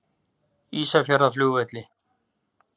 Ísafjarðarflugvelli